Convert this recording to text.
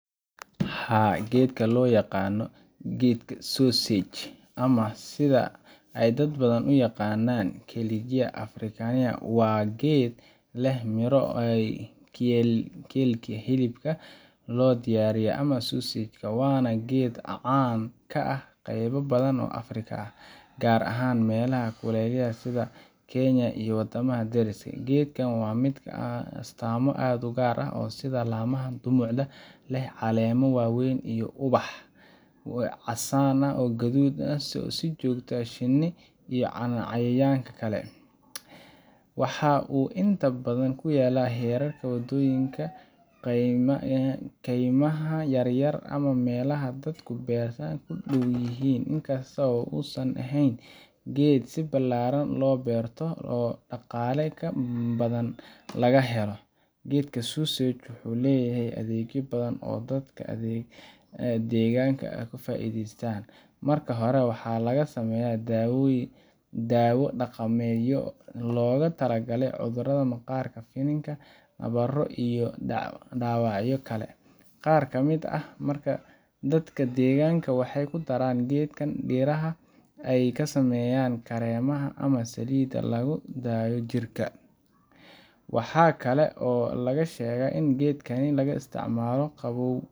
Haa, geedka loo yaqaan geedka sausage ama sida ay dad badan u yaqaannaan Kigelia africana waa geed leh miro u eg kielkii hilibka loo diyaariyay ama sausage, waana geed caan ka ah qaybo badan oo Afrika ah, gaar ahaan meelaha kulaylaha ah sida Kenya iyo waddamada deriska la ah. Geedkan waa mid leh astaamo aad u gaar ah sida laamaha dhumucda leh, caleemo waaweyn, iyo ubax casaan ama guduud ah oo soo jiita shinni iyo cayayaanka kale. Waxa uu inta badan ku yaal hareeraha wadooyinka, kaymaha yaryar ama meelaha dadku beerta ku dhaw yihiin, inkasta oo uusan ahayn geed si ballaaran loo beerto oo dhaqaale ka badan laga helo. Geedka sausage wuxuu leeyahay adeegyo badan oo dadka deegaanka ay ka faa’iideystaan. Marka hore, waxaa laga sameeyaa daawo dhaqameedyo loogu talagalay cudurrada maqaarka, finan, nabro, iyo dhaawacyo kale. Qaar ka mid ah dadka deegaanka waxay ku daraan geedkan dhiraha ay ka sameeyaan kareemada ama saliidaha lagu dhayo jirka. Waxaa kale oo la sheegaa in geedkan laga isticmaalo qabow